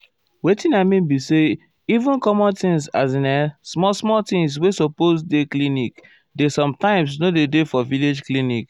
wetin i mean be say even common things as in[um]small small things wey supose um dey clinic dey sometimes nor dey for village clinic.